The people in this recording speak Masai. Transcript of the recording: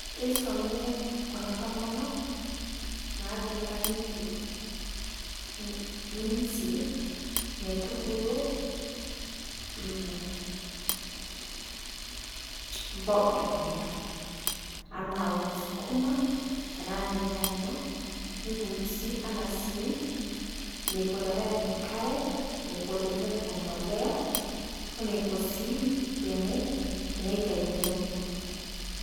Keisomi kuna tomonok naati nkang'itie jinsi neitubuluu ena mboga te nkaang', ana auun sukuma tana lnyanya. Neifunsi ana sii neikoo tenepiik, neikoo tenepiik mbolea oneikoo sii tene taai tonokuu.